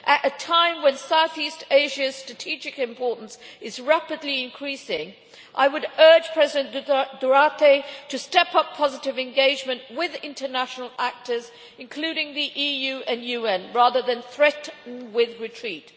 At a time when South-East Asia's strategic importance is rapidly increasing, I would urge President Duterte to step up positive engagement with international actors, including the EU and UN, rather than threaten a retreat.